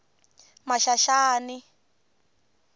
maxaxani